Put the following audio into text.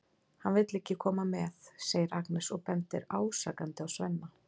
Hann vill ekki koma með, segir Agnes og bendir ásakandi á Svenna.